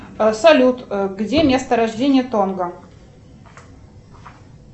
салют где место рождения тонго